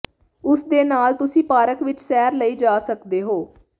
ਉਸ ਦੇ ਨਾਲ ਤੁਸੀਂ ਪਾਰਕ ਵਿਚ ਸੈਰ ਲਈ ਜਾ ਸਕਦੇ ਹੋ